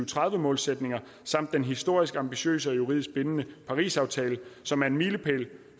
tredive målsætninger samt den historisk ambitiøse og juridisk bindende parisaftale som er en milepæl